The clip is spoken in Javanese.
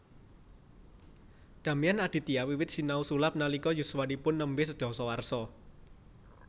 Damian Aditya wiwit sinau sulap nalika yuswanipun nembe sedasa warsa